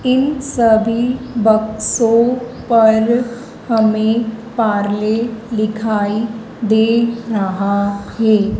इन सभी बक्सों पर हमें पार्ले लिखाई दे रहा है।